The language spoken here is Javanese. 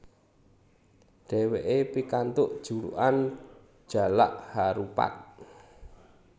Dheweke pikantuk julukan Jalak Harupat